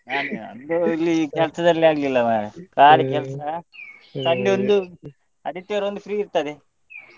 ನಮ್ಮೂರಲ್ಲಿ ಕೆಲ್ಸ ಸರಿಯಾಗಿ ಆಗ್ಲಿಲ್ಲಾ ಮಾರ್ರೆ ಬಾರಿ ಕೆಲ್ಸ Sunday ಒಂದು ಆದಿತ್ಯವಾರ ಒಂದು free ಇರ್ತದೆ.